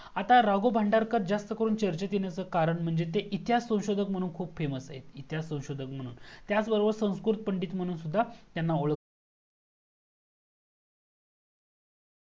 आता राघव भांडारकर जास्त करून चर्चे येणाचा कारण म्हणजे ते इतिहास संशोदक म्हणून खूप FAMOUS आहेत इतिहास संशोदक म्हणून त्याचबरोबर संस्कृत पंडित म्हणून सुद्धा यांना ओळखला